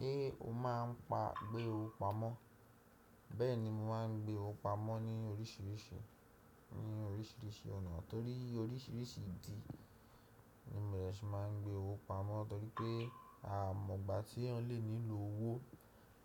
Ṣé o máa ń pa gbé owó pamọ́? Bẹ́ẹ̀ni, mo máa ń gbé owó pamọ́ ní oríṣìíríṣìí, ní oríṣìíríṣìí ọ̀nà torí oríṣìíríṣìí ìdí ni mo dẹ̀ se máa ń gbé owó pamọ́ torí pé a mọ̀ gbà tí eyan lè nílò owó